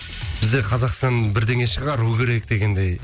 бізде қазақстан бірдеңе шығару керек дегендей